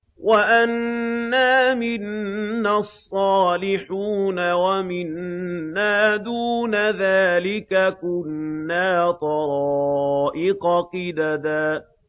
وَأَنَّا مِنَّا الصَّالِحُونَ وَمِنَّا دُونَ ذَٰلِكَ ۖ كُنَّا طَرَائِقَ قِدَدًا